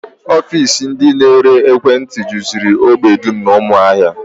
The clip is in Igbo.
Ofiisi ndị na-ere ekwentị juziri ógbè dum n'ụmụahia